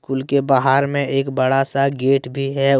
Cool के बाहर में एक बड़ा सा गेट भी है।